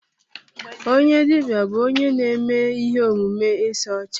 Onye dibịa bụ onye na-eme ihe omume ịsa ọcha.